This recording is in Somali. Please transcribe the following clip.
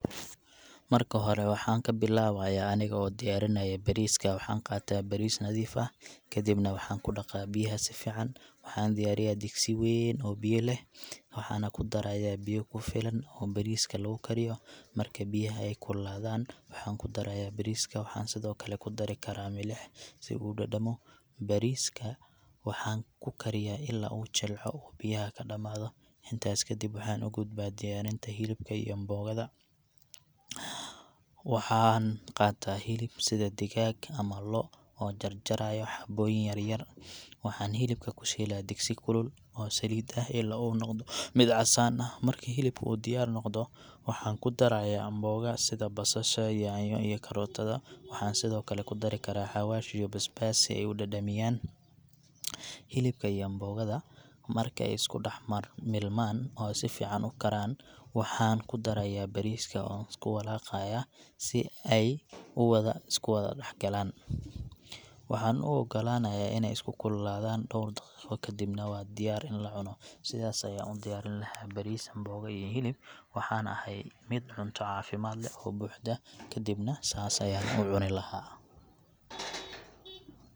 Marka hore, waxaan ka bilaabaya aniga oo diyaarinaya bariiska. Waxaan qaataa bariis nadiif ah, kadibna waxaan ku dhaqaa biyaha si fiican. Waxaan diyaariyaa digsi weyn oo biyo leh, waxaan ku darayaa biyo ku filan oo bariiska lagu kariyo. Marka biyaha ay kululaadaan, waxaan ku darayaa bariiska, waxaan sidoo kale ku dari karaa milix si uu u dhadhamo. Bariiska waxaan ku kariyaa ilaa uu jilco oo uu biyaha ka dhammaado. Intaas kadib, waxaan u gudbaa diyaarinta hilibka iyo mboga da. Waxaan qaataa hilib, sida digaag ama lo’ oon jarjarayo xabooyin yar-yar. Waxaan hilibka ku shiilaa digsi kulul oo saliid ah ilaa uu noqdo mid casaan leh. Marka hilibku uu diyaar noqdo, waxaan ku darayaa mboga sida basasha, yaanyo, iyo karootada. Waxaan sidoo kale ku dari karaa xawaash iyo basbaas si ay u dhadhamiyaan. Hilibka iyo mboga da marka ay isku dhex mar milmaan oo si fiican u karaan, waxaan ku darayaa bariiska oon isku walaqaya si ay u wada isku wada dhexgalaan. Waxaan u oggolaanayaa inay isku kululaadaan dhowr daqiiqo, kadibna waa diyaar in la cuno. Sidaas ayaan u diyaariyaa bariis, mboga, iyo hilib, waxaana ahay mid cunto caafimaad leh oo buuxda, kadibna saas ayaan u cuni lahaa.